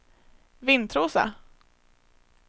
Vintrosa